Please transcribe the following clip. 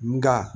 Nka